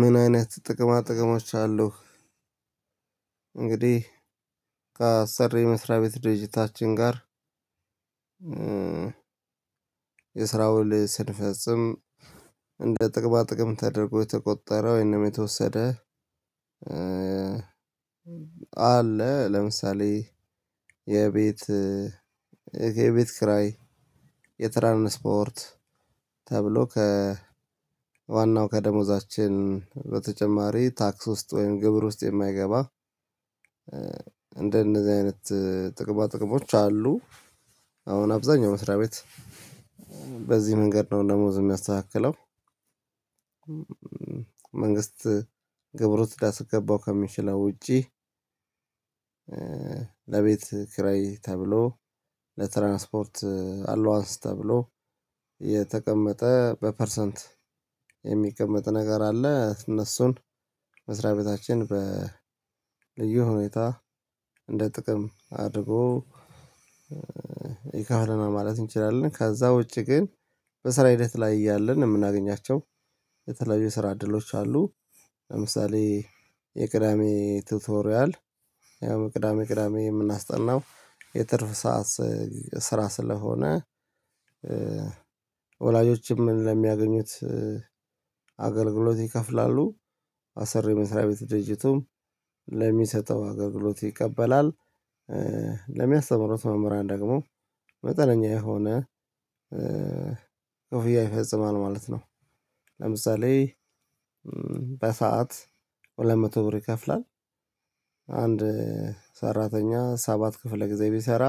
ምን አይነት ጥቅማ ጥቅሞች አሉ እንግዲህ ከአሰሪ የመስሪያ ቤት ድርጅታችን ጋር የስራ ውል ስንፈጽም እንደ ጥቅማ ጥቅም ተደርጎ የተቆጠረው ወይንም የተወሰደ አለ ለምሳሌ የቤት ክራይ፤ የትራንስፖርት ተብሎ፤ ከ ዋናው ከደሞዛችን በተጨማሪ ታክስ ውስጥ ወይም ግብር ውስጥ የማይገባ እንደነዚህ አይነት ጥቅማ ጥቅሞች አሉ። አሁን አብዛኛው መስሪያ ቤት በዚህ መንገድ ነው ደሞዝ የሚያስተካክለው። መንግስት ግብር ውስጥ ላስገባው ከሚችለው ውጪ ለቤት ክራይ ተብሎ፤ ለትራንስፖርት አሏንስ ተብሎ፤ የተቀመጠ በፐርሰንት የሚቀመጥ ነገር አለ። እነሱን መስሪያ ቤታችን በልዩ ሁኔታ እንደ ጥቅም አድርጎ ይከፍለናል ማለት እንችላለን። ከዛ ውጪ ግን በስራ ሂደት ላይ እያለን የምናገኛቸው የተለያዩ ስራ እድሎች አሉ። ለምሳሌ የቅዳሜ ቲቶሪያል ያው ቅዳሜ ቅዳሜ የምናስጠናው የትርፍ ሰዓት ስራ ስለሆነ ሆነ ወላጆችን ለሚያገኙት አገልግሎት ይከፍላሉ። አሰረ የመስሪያ ቤት ድርጅቱም ለሚሰጠው ሀገር አገልግሎት ይቀበላል። ለሚያስተምሩት መምህራን ደግሞ መጠነኛ የሆነ ክፍያ ይፈጽማል ማለት ነው። ለምሳሌ በሰአት ሁለት መቶ ብር ይከፍላል። አንድ ሰራተኛ ሰባት ክፍለ ጊዜ ቢሰራ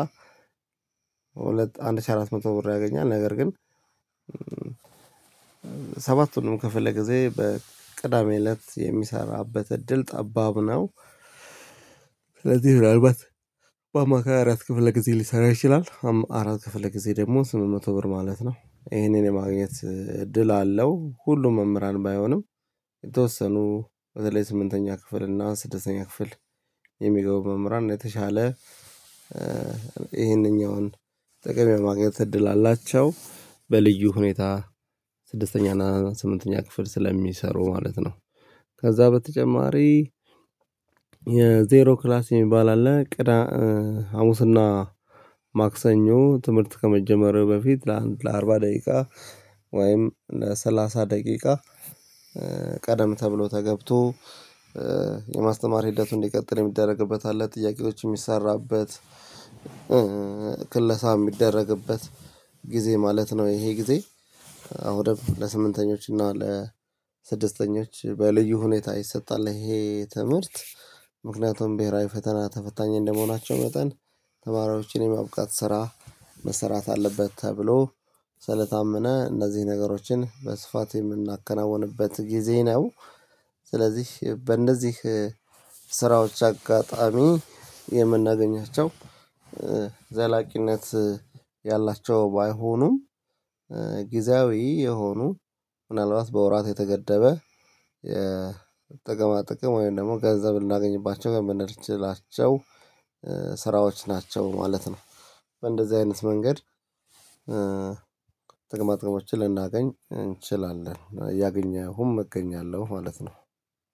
ሁለት አንድ ሺህ አራት መቶ ብር ያገኛል ነገር ግን ሰባቱንም ክፍል ለጊዜ በቅዳሜ እለት የሚሰራበት እድል ጠባብ ነው። ስለዚህ ምናልባት በአማካሪያት ክፍለ ጊዜ ሊሰራ ይችላል አራት ክፍለ ጊዜ ደግሞ ስምንት መቶ ብር ማለት ነው ይሄንን የማግኘት እድል አለው። ሁሉም መምህራን ባይሆንም የተወሰኑ በተለይ ስምንተኛ ክፍል እና ስድስተኛ ክፍል የሚገቡ መምህራን ነው የተሻለ ይሄንኛውን ጥቅም የማግኘት እድል አላቸው። በልዩ ሁኔታ ስድስተኛ ስምንተኛ ክፍል ስለሚሰሩ ማለት ነው። ከዛ በተጨማሪ የዜሮ ክላስ የሚባል አለ፤ ሀሙስና ማክሰኞ ትምህርት ከመጀመሩ በፊት ለአንድ ለአርባ ደቂቃ ወይም ለሰላሳ ደቂቃ ቀደም ተብሎ ተገብቶ የማስተማር ሂደቱ እንዲቀጥል የሚደረግበት አለ ጥያቄዎች የሚሰራበት፤ ክለሳ የሚደረግበት ጊዜ ማለት ነው። ይሄ ጊዜ አሁንም ለስምንተኞች እና ለስድስተኞች በልዩ ሁኔታ ይሰጣል። ይሄ ትምህርት ምክንያቱም ብሄራዊ ፈተና ተፈታኝ እንደመሆናቸው መጠን፤ ተባራዊዎችን የማብቃት ስራ መሰራት አለበት ተብሎ ሰለታመነ፤ እነዚህን ነገሮችን በስፋት የምናከናውንበት ጊዜ ነው። ስለዚህ በእንደዚህ ስራዎች አጋጣሚ የምናገኛቸው ዘላቂነት ያላቸው ባይሆኑም፤ ጊዜያዊ የሆኑ ምናልባት በወራት የተገደበ የጥቅማ ጥቅም ወይም ደግሞ ገንዘብ ልናገኝባቸው ከምንችላቸው ስራዎች ናቸው ማለት ነው። በእንደዚህ አይነት መንገድ ጥቅማ ጥቅሞችን ልናገኝ እንችላለን፤ እያገኘሁም እገኛለሁ ማለት ነው